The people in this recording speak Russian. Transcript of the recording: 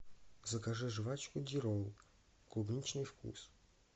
закажи жевачку дирол клубничный вкус